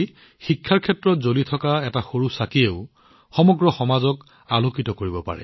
শিক্ষাৰ ক্ষেত্ৰত জ্বলি থকা এটা সৰু চাকিয়েও গোটেই সমাজখনক আলোকিত কৰিব পাৰে